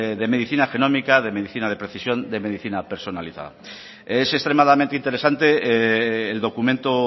de medicina genómica de medicina de precisión de medicina personalizada es extremadamente interesante el documento